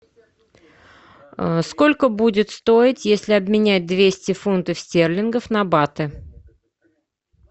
сколько будет стоить если обменять двести фунтов стерлингов на баты